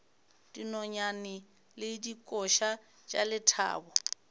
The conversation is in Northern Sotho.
dinonyane le dikoša tša lethabo